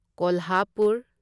Kolhapur